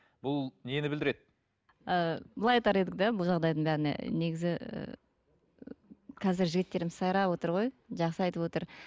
бұл нені білдіреді ы былай айтар едік те бұл жағдайдың бәріне негізі і қазір жігіттеріміз сайрап отыр ғой жақсы айтып отыр